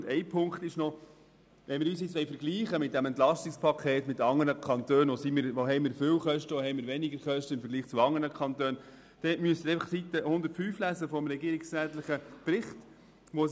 Noch ein Punkt: Wollen wir uns bei diesem EP mit anderen Kantonen vergleichen und betrachten, wo wir hohe und wo wir geringe Kosten haben, dann müssen Sie die Seite 105 des regierungsrätlichen Berichts lesen.